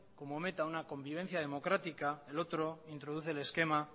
como meta una convivencia democrática el otro introduce el esquema